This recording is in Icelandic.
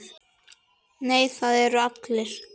Nei, það eru allir.